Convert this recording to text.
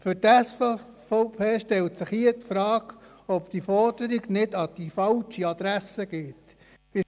Für die SVP stellt sich hier die Frage, ob diese Forderung an die falsche Adresse gerichtet wird.